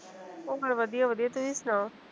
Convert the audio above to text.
ਵਧੀਆ ਵਧੀਆ ਤੁਸੀਂ ਸੁਣਾਓ